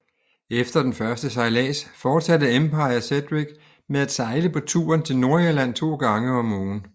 Efter den første sejlads fortsatte Empire Cedric med at sejle på ruten til Nordirland to gange om ugen